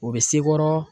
O bɛ sekɔrɔ